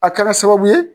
A kɛra sababu ye